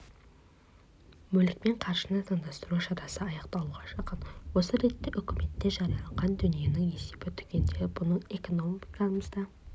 мүлік пен қаржыны заңдастыру шарасы аяқталуға жақын осы ретте үкіметте жарияланған дүниенің есебі түгенделіп оның экономикамызда